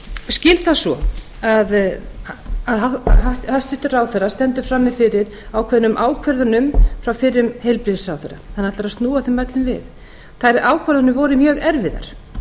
skil það svo að hæstvirtur ráðherra stendur frammi fyrir ákveðnum ákvörðunum frá fyrrum heilbrigðisráðherra hann ætlar að snúa þeim öllum við þær ákvarðanir voru mjög erfiðar